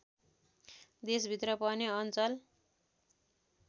देशभित्र पनि अञ्चल